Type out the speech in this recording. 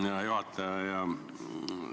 Hea juhataja!